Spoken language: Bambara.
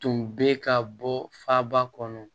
Tun bɛ ka bɔ faaba kɔnɔ